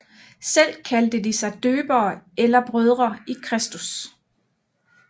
Selv kaldte de sig døbere eller brødre i Kristus